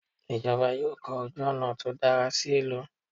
ìjọba yóò kọ ojú ònà tí dára sí ìlú